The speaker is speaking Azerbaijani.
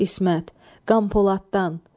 İsmət, Qampoladdan.